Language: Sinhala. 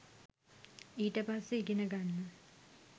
ඊට පස්සේ ඉගෙන ගන්න